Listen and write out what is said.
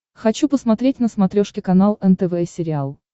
хочу посмотреть на смотрешке канал нтв сериал